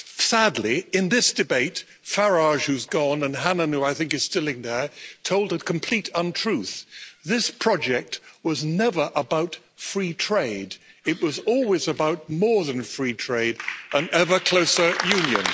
Sadly, in this debate, Farage, who's gone, and Hannan, who I think is still in there, told a complete untruth. This project was never about free trade. It was always about more than free trade and ever closer Union.